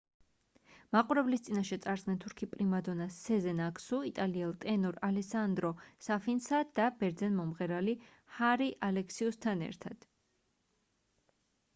მაყურებლის წინაშე წარსდგნენ თურქი პრიმადონა სეზენ აქსუ იტალიელ ტენორ ალესანდრო საფინსა და ბერძენ მომღერალი ჰარი ალექსიუსთან ერთად